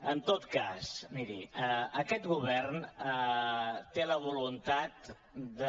en tot cas miri aquest govern té la voluntat de